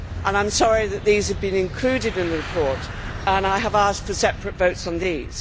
I am sorry that these have been included in the report, and I have asked for separate votes on these.